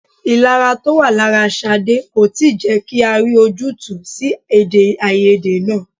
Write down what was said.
Ìlara to wá lára Ṣadé kò tí ì jẹ́ kí a rí ojútùú sí èdè-áiyedé náà.